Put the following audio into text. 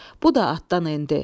Bu da atdan endi.